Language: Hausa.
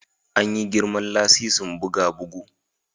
An yi girman lasisin buga bugu